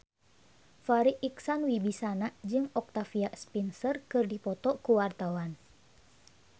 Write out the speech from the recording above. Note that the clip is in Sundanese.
Farri Icksan Wibisana jeung Octavia Spencer keur dipoto ku wartawan